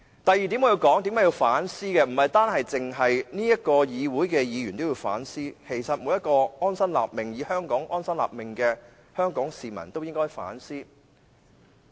我要說的第二點是，為何不但立法會議員需要反思，在香港安心立命的每位香港市民都應該反思。